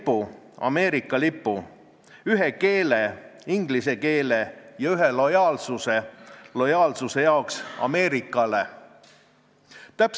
Justiitsministeeriumi esindaja ütles, et nad ei ole otse eelnõu vastu, aga nad näeks lahendust pigem selles, et asjaomane paragrahv keeleseadusest kustutada ja rakenduks korrakaitseseaduses sätestatud sunniraha ülemmäär, mis on 9600 eurot.